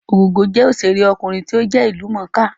Ògògó jẹ́ òṣèré ọkùnrin tí ó jẹ́ ìlú mọ̀ọ́ kà